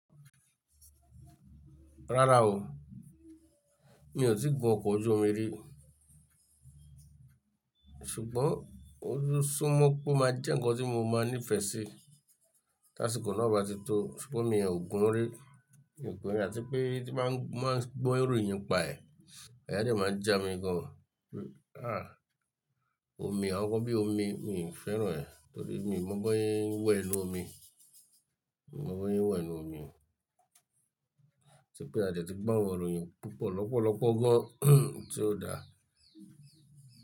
Rárá o, mi ò tíì gun ọkọ̀ ojú omi rí. Ṣùgbọ́n ó n súnmọ́ pé ó máa jẹ́ ǹkan tí mo máa nífẹ̀ẹ́ sí táṣíko náà bá ti tó. Ṣùgbọ́n mi ò gun-ún rí, àti pé tí ba n gbọ́ ìròyìn npa ẹ̀, àyàa dẹ́ máa ń jà mí gan. Ah! Omi, àwọn ǹkan bíi omi, mi ò fẹ́ràn ẹ́ torí mi ò mọ̀ bọ́ sẹ́ ń wẹ̀ nínú omi, mi mọ̀ bọ́ sẹ́ ń wẹ̀ nínú omi oo. Ati pé a dẹ́ ti gbọ́ àwọn ìròyìn púpọ̀ lọ́pọ̀lọpọ̀ gan tí ó dáa.